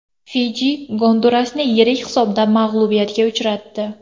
Fiji Gondurasni yirik hisobda mag‘lubiyatga uchratdi.